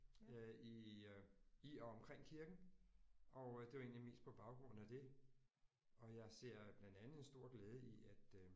Øh i øh i og omkring kirken og det var egentlig mest på baggrund af det og jeg ser blandt andet en stor glæde i at øh